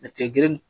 Mɛtiri